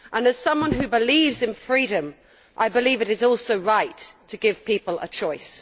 As someone who believes in freedom, I believe it is also right to give people a choice.